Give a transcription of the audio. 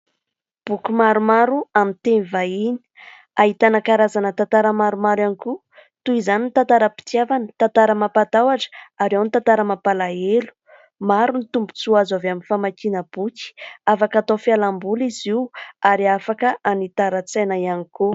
Boky maromaro amin'ny teny vahiny. Ahitana karazana tantara maromaro ihany koa, toy izany ny tantaram-pitiavana, tantara mampatahotra ary ao ny tantara mampalahelo. Maro ny tombon-tsoa azo avy amin'ny famakiana boky ; afaka atao fialam-boly izy io ary afaka hanitaran-tsaina ihany koa.